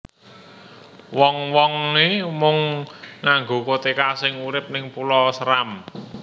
Wong wonge mung nganggo koteka sing urip ning Pulau Seram